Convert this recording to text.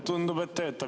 Tundub, et töötab.